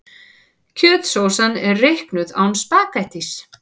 Kjötsósan er reiknuð án spaghettís.